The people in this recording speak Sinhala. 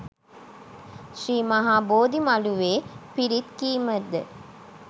ශ්‍රී මහ බෝධි මළුවේ පිරිත් කීමද